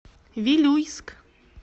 вилюйск